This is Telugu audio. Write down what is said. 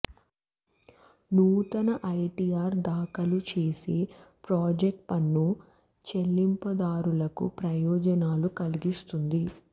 నూతన ఐటీఆర్ దాఖలు చేసే ప్రాజెక్ట్ పన్ను చెల్లింపుదారులకి ప్రయోజనాలను కలిగిస్తుంది